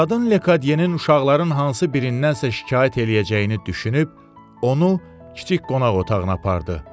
Qadın Lekadyenin uşaqların hansı birindən şikayət eləyəcəyini düşünüb, onu kiçik qonaq otağına apardı.